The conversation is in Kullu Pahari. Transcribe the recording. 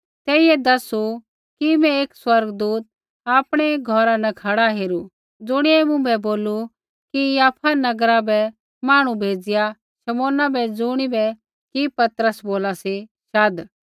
तेइयै दैसू कि मैं एक स्वर्गदूत आपणै घौरा न खड़ा हेरू ज़ुणियै मुँभै बोलू कि याफा नगरा बै मांहणु भेज़िआ शमौना बै ज़ुणिबै कि पतरस बोला सी शाध